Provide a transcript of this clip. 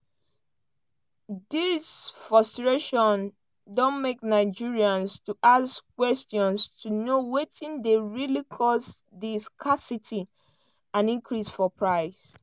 dis frustration don make nigerians to ask kwesions to know wetin dey really cause di scarcity and increase for price.